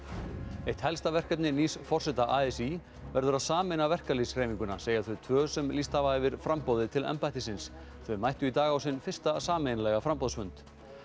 eitt helsta verkefni nýs forseta a s í verður að sameina verkalýðshreyfinguna segja þau tvö sem lýst hafa yfir framboði til embættisins þau mættu í dag á sinn fyrsta sameiginlega framboðsfund